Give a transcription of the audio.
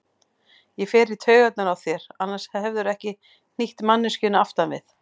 Ég fer í taugarnar á þér, annars hefðirðu ekki hnýtt manneskjunni aftan við.